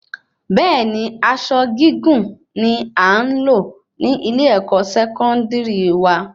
Bẹẹni aṣọ gígùn ni a nlo ni ile-ẹkọ Sẹkọndiri wa